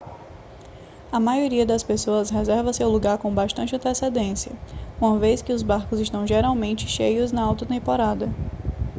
a maioria das pessoas reserva seu lugar com bastante antecedência uma vez que o barcos estão geralmente cheios na alta temporada